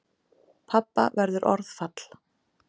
Pabba verður orðfall.